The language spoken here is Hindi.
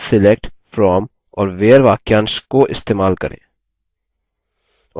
select from और where वाक्यांश को इस्तेमाल करें